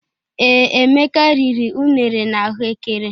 Ee, Emeka riri unere na ahụ ékẹrè.